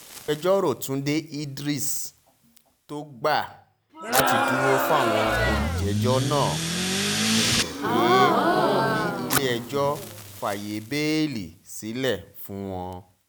agbẹjọ́rò túnde idris tó gbà láti dúró fáwọn olùjẹ́jọ́ náà bẹ̀bẹ̀ pé kílẹ̀-ẹjọ́ fàáyé bẹ́ẹ́lí sílẹ̀ fún wọn